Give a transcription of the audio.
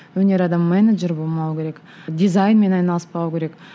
өнер адамы менеджер болмауы керек дизайнмен айналыспау керек